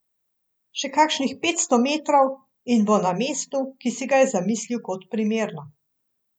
Še kakšnih petsto metrov, in bo na mestu, ki si ga je zamislil kot primerno.